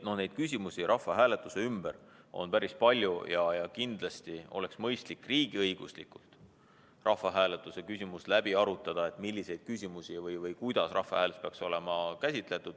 Nii et küsimusi rahvahääletuse ümber on päris palju ja kindlasti on mõistlik riigiõiguslikult rahvahääletuse teema läbi arutada, et milliseid küsimusi või kuidas rahvahääletusel peaks käsitlema.